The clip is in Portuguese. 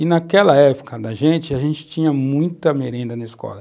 E naquela época da gente, a gente tinha muita merenda na escola.